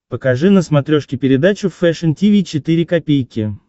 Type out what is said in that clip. покажи на смотрешке передачу фэшн ти ви четыре ка